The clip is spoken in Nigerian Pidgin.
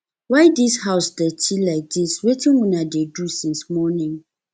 why dis house dirty like dis wetin una dey do since morning